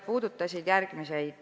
Need olid järgmised.